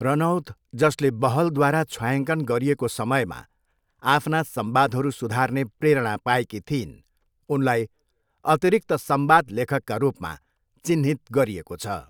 रनौत जसले बहलद्वारा छायाङ्कन गरिएको समयमा आफ्ना संवादहरू सुधार्ने प्रेरणा पाएकी थिइन्, उनलाई अतिरिक्त संवाद लेखकका रूपमा चिह्नित गरिएको छ।